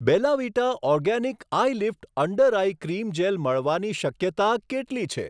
બેલા Vita organic eye lift under eye cream gel મળવાની શક્યતા કેટલી છે?